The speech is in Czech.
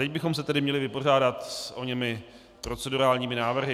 Teď bychom se tedy měli vypořádat s oněmi procedurálními návrhy.